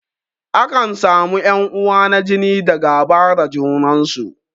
Akan samu ƴan uwa na jini da gaba da junan su.